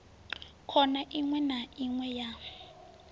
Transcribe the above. khona iwe na iwe ya